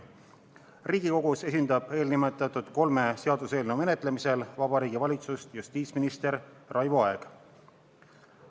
Riigikogus esindab eelnimetatud kolme seaduseelnõu menetlemisel Vabariigi Valitsust justiitsminister Raivo Aeg.